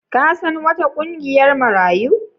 Ka san wata ƙungiyar Marayu?